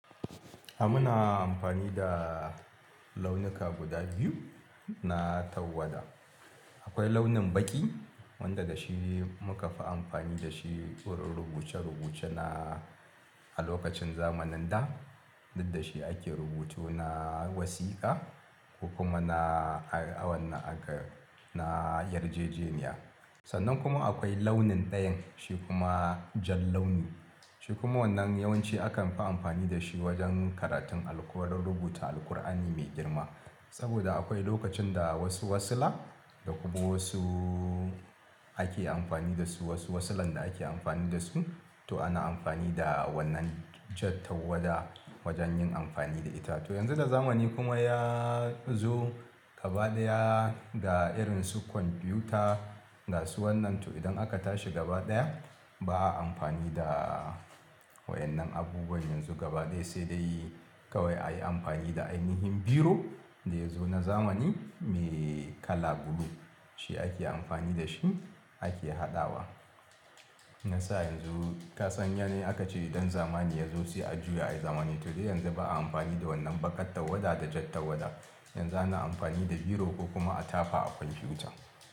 A muna amfani da launuka guda biyu na tawada. Akwai launin baƙi wanda da shi muka fi amfani da shi wurin rubuce-rubuce na a lokacin zamanin da, duk da shi ake rubutu na wasiƙa ko kuma na a wannan aka na Yarjejeniya. Sannan kuma akwai launin ɗayan shi kuma jan launi. Shi kuma wannan yawanci akan fi amfani da shi wajen karatun allo, ko don rubuta Alqur'ani mai girma. Saboda akwai lokacin da wasu wasiƙa da kuma wasu ake amfani da su wasu wasiƙan da ake amfani da su, to ana amfani da wannan jan tawada wajen yin amfani da ita. To yanzu da zamani kuma ya zo gabaɗaya da irin su kwamfiyuta da su wannan tu idan aka tashi gaba ɗaya ba a amfani da waƴannan abubuwan yanzu gabaɗaya, sai dai kawai a yi amfani da ainihin biro da ya zo na zamani mai kala blue. Shi ake amfani da shi ake haɗawa. Nasa yanzu ka san yanayi akace ɗan zamani ya zo sai a juya ayi zamani. To dai yanzu ba a amfani da wannan baƙar tawada da jan tawada. Yanzu ana amfani da biro ko kuma a tafa a kwamfiyuta.